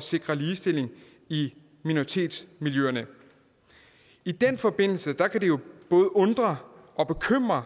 sikre ligestilling i minoritetsmiljøerne i den forbindelse kan det jo både undre og bekymre